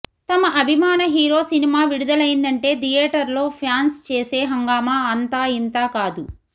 తమ అభిమాన hero cinema విడుదలైందంటే థియేటర్లో ఫ్యాన్స్ చేసే హంగామా అంతా ఇంతా కాదు